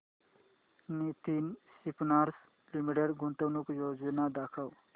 Nitin Spinners Limited गुंतवणूक योजना दाखव